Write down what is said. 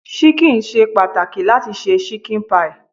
Ṣíkìn ṣe pàtàkì láti se ṣíkìn pie.